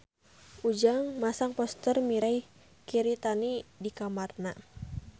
Ujang masang poster Mirei Kiritani di kamarna